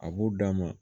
A b'u d'a ma